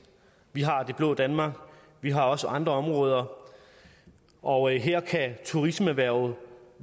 vi har det blå danmark vi har også andre områder og her kan turismeerhvervet